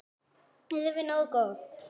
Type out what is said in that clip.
Erum við nógu góðir?